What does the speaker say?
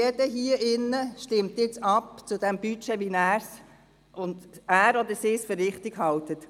Jedermann hier im Rat stimmt jetzt über dieses Budget ab, so wie er oder sie es für richtig hält.